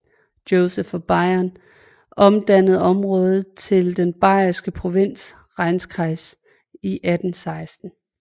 Joseph af Bayern omdannede området til den bayerske provins Rheinkreis i 1816